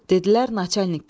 Dedilər naçalnik gəlir.